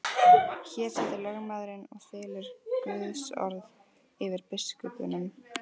Hér situr lögmaðurinn og þylur Guðsorð yfir biskupnum.